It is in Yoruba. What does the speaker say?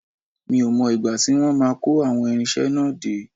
Mi ò mọ ìgbà tí wọ́n máa kó àwọn irinṣẹ́ náà dé